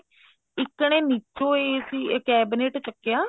ਇੱਕ ਨੇ ਨੀਚੋਂ AC cabinet ਚੱਕਿਆ